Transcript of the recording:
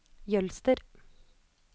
Jølster